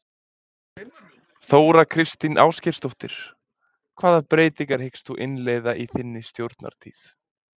Þóra Kristín Ásgeirsdóttir: Hvaða breytingar hyggst þú innleiða í þinni stjórnartíð?